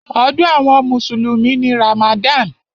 Ọdún àwọn mùsùlùmí ni Ramadan.